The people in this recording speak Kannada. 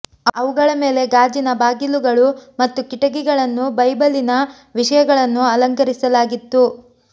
ಅವುಗಳ ಮೇಲೆ ಗಾಜಿನ ಬಾಗಿಲುಗಳು ಮತ್ತು ಕಿಟಕಿಗಳನ್ನು ಬೈಬಲಿನ ವಿಷಯಗಳನ್ನು ಅಲಂಕರಿಸಲಾಗಿತ್ತು